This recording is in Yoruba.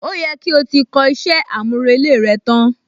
Ó yẹ kí o ti kọ iṣẹ́ àmúrelé rẹ tán?